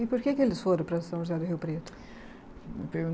E por que que eles foram para São José do Rio Preto?